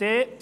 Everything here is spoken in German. Punkt 2.d